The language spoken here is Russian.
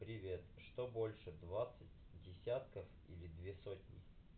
привет что больше двадцать десятков или две сотни